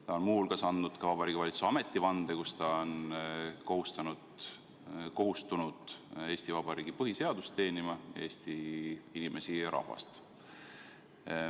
Ta on muu hulgas andnud ka Vabariigi Valitsuse ametivande, millega ta on kohustunud teenima Eesti Vabariigi põhiseadust, Eesti inimesi, rahvast.